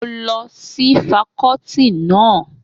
Mo lọ sí fakọ́ọ́tì náà.